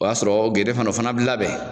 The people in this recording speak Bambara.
O y'a sɔrɔ gende fana o fana bi labɛn.